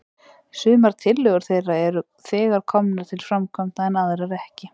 Sumar tillögur þeirra eru þegar komnar til framkvæmda, en aðrar ekki.